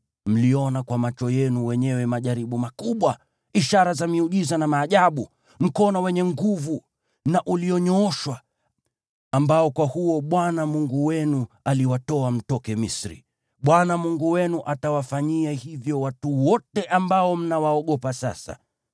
Mliona kwa macho yenu wenyewe majaribu makubwa, ishara za miujiza na maajabu, mkono wenye nguvu na ulionyooshwa, ambao kwa huo Bwana Mungu wenu aliwatoa mtoke Misri. Bwana Mungu wenu atawafanyia hivyo watu wote ambao mnawaogopa sasa.